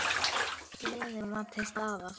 Gleðin var til staðar.